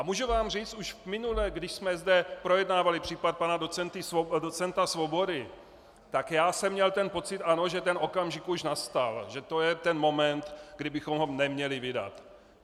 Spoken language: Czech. A můžu vám říct, už minule, když jsme zde projednávali případ pana docenta Svobody, tak já jsem měl ten pocit, ano, že ten okamžik už nastal, že to je ten moment, kdy bychom ho neměli vydat.